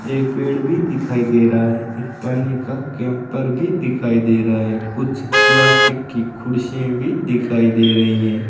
एक पेड़ भी दिखाई दे रहा है एक पानी का कैंपर भी दिखाई दे रहा है कुछ प्लास्टिक की खुर्सियां भी दिखाई दे रही हैं।